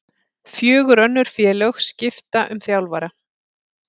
Fjögur önnur félög skipta um þjálfara